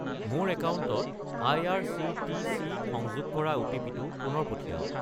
মোৰ একাউণ্টত আই.আৰ.চি.টি.চি. সংযোগ কৰা অ'টিপি-টো পুনৰ পঠিৱাওক।